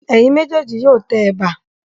Ẹ̀yin méjèèjì yóò tẹ ẹ̀bà.